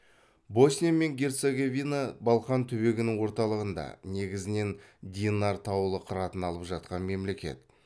босния мен герцеговина балқан түбегінің орталығында негізінен динар таулы қыратын алып жатқан мемлекет